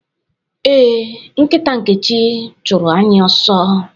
Ee, nkita Nkechi chụrụ anyị ọsọ.